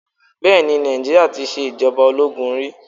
Bẹẹni Nàìjíríà tí ṣe ìjọba ológun rí.